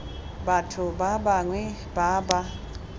batho ba bangwe ba ba